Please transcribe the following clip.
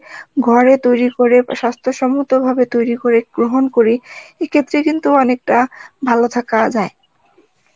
ঘরে তৈরি করে স্বাস্থ্যসম্মত ভাবে তৈরি করে যদি গ্রহণ করি এক্ষেত্রে কিন্তু অনেকটা ভালো থাকা যায়